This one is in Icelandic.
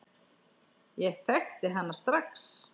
Ég þekkti hana strax.